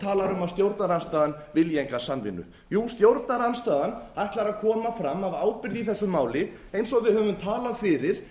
talar um að stjórnarandstaðan vilji enga samvinnu jú stjórnarandstaðan ætlar að koma fram af ábyrgð í þessu máli eins og við höfum talað fyrir